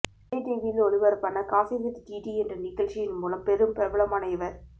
விஜய் டிவியில் ஒளிபரப்பான coffee with DD என்ற நிகழ்ச்சியின் மூலம் பெரும் பிரபலமான இவர்